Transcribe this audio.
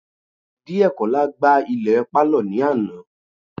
Diekola gbá ilẹ̀ pálọ̀ ní àná